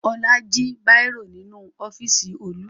Ọlá jí bírò nínú ọ́fíísì Olú.